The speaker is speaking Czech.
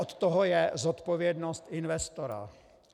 Od toho je zodpovědnost investora.